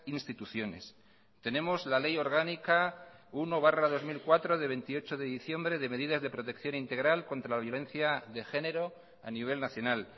instituciones tenemos la ley orgánica uno barra dos mil cuatro de veintiocho de diciembre de medidas de protección integral contra la violencia de género a nivel nacional